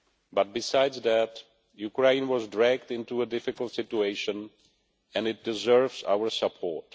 But besides that, Ukraine was dragged into a difficult situation, and it deserves our support.